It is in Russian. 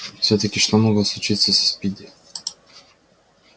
всё-таки что могло случиться со спиди